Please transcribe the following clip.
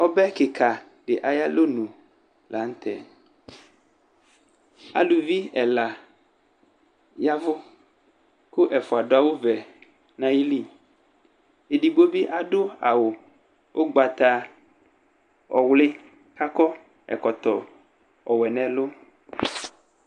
Ɔbɛ kɩka dɩ ayʋ alɔnʋ la nʋtɛ Aluvi ɛla yavʋ kʋ ɛfʋa adʋ awʋvɛ nayili Edigbo bɩ adʋ awʋ ʋgabataɔwlɩ kʋ akɔ ɛkɔtɔ ɔwɛ nʋ ɛlʋ